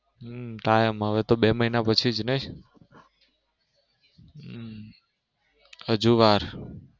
હમ હા એમ હવે બે મહિના પછી જ નઈ હજુ વાર.